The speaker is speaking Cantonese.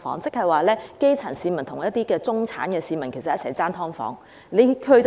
換句話說，基層市民要與中產市民爭奪"劏房"。